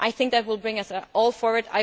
I think that will bring us all forward.